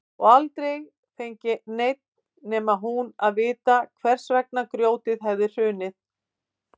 Og aldrei fengi neinn nema hún að vita hvers vegna grjótið hefði hrunið.